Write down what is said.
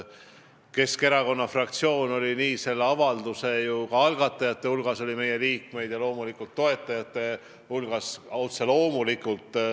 Keskerakonna fraktsiooni liikmeid oli nii selle avalduse algatajate kui ka otse loomulikult toetajate hulgas.